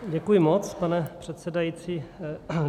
Děkuji moc, pane předsedající.